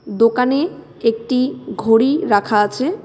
দোকানে একটি ঘড়ি রাখা আছে .